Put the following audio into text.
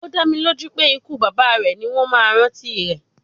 Ó dá mi lójú pé ikú bàbá rẹ̀ ni wọ́n máa rántí rẹ̀